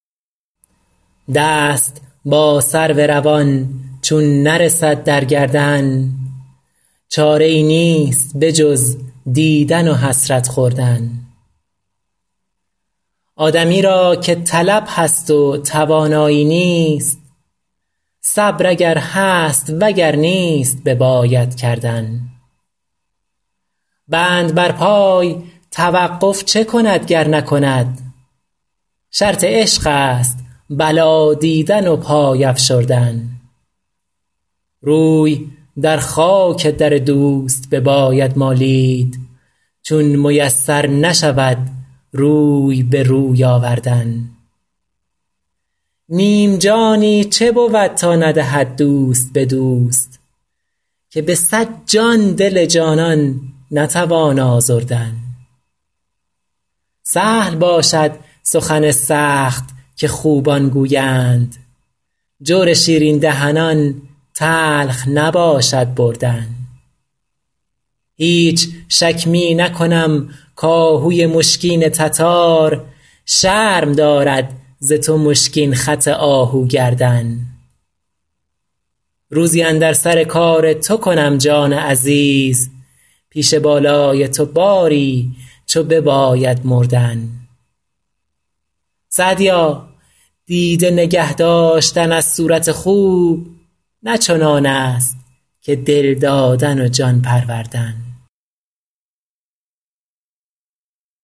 دست با سرو روان چون نرسد در گردن چاره ای نیست به جز دیدن و حسرت خوردن آدمی را که طلب هست و توانایی نیست صبر اگر هست و گر نیست بباید کردن بند بر پای توقف چه کند گر نکند شرط عشق است بلا دیدن و پای افشردن روی در خاک در دوست بباید مالید چون میسر نشود روی به روی آوردن نیم جانی چه بود تا ندهد دوست به دوست که به صد جان دل جانان نتوان آزردن سهل باشد سخن سخت که خوبان گویند جور شیرین دهنان تلخ نباشد بردن هیچ شک می نکنم کآهوی مشکین تتار شرم دارد ز تو مشکین خط آهو گردن روزی اندر سر کار تو کنم جان عزیز پیش بالای تو باری چو بباید مردن سعدیا دیده نگه داشتن از صورت خوب نه چنان است که دل دادن و جان پروردن